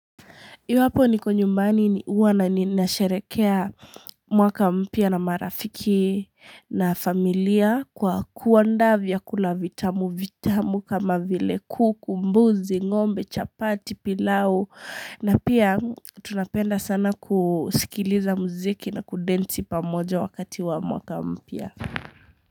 Iwapo niko nyumbani ni huwa ninasherekea mwaka mpya na marafiki na familia kwa kuandaa vyakula vitamu, vitamu kama vile kuku, mbuzi, ngombe, chapati, pilau na pia tunapenda sana kusikiliza muziki na kudensi pamoja wakati wa mwaka mpya.